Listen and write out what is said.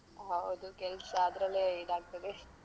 ಹೌದು ಕೆಲ್ಸ ಅದ್ರಲ್ಲೇ ಇದಾಗ್ತದೆ.